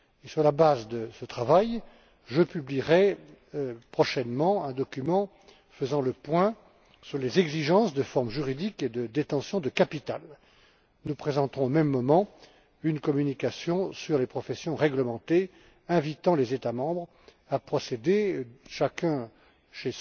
Sur la base de ce travail, je publierai prochainement un document qui fera le point sur les exigences en matière de forme juridique et de détention de capital. Nous présenterons au même moment une communication sur les professions réglementées, qui invitera les États membres à procéder, chacun de leur côté,